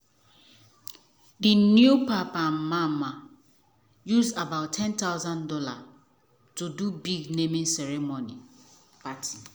the new papa and mama use about ten thousand dollars to do big naming ceremony party.